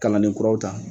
Kalanden kuraw ta